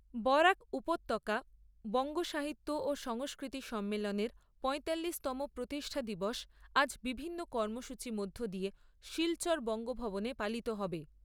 বরাক উপত্যকা বঙ্গ সাহিত্য ও সংস্কৃতি সম্মেলনের পয়তাল্লিশতম প্রতিষ্ঠা দিবস আজ বিভিন্ন কাৰ্য্যসূচীর মধ্য দিয়ে শিলচর বঙ্গ ভবনে পালিত হবে।